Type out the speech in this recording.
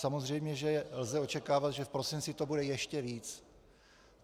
Samozřejmě že lze očekávat, že v prosinci to bude ještě víc.